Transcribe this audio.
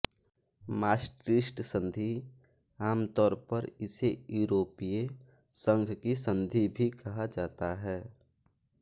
Maastricht संधि आम तौर पर इसे यूरोपीय संघ की संधि भी कहा जाता है